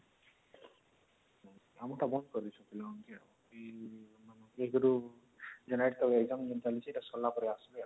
ଆମର ତ ବନ୍ଦ କରିଦେଇଛନ୍ତି ପିଲାମାନଙ୍କୁ ୧ ରୁ exam ଚାଲିଛି ସେଇଟା ସରିଲା ପରେ ଆସିବେ